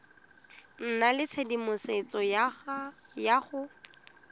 nna le tshedimosetso ya go